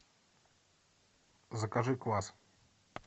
закажи квас